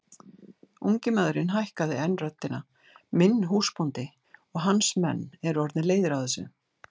Ungi maðurinn hækkaði enn röddina:-Minn húsbóndi og hans menn eru orðnir leiðir á þessu!